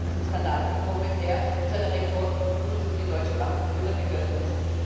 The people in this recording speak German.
Es ist zu diesem Skandal gekommen, der zu einer Rekordbuße für die Deutsche Bank geführt hat wir hörten es.